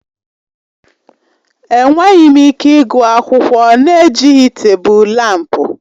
Enweghị m ike ịgụ akwụkwọ na-ejighị tebụl lámpu.